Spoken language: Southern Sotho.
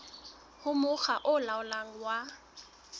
ho mokga o laolang wa